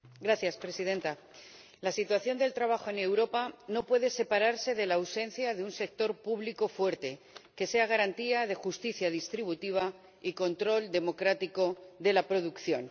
Señora Presidenta, la situación del trabajo en Europa no puede separarse de la ausencia de un sector público fuerte, que sea garantía de justicia distributiva y control democrático de la producción.